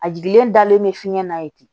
A jiginlen dalen bɛ fiɲɛ na ye ten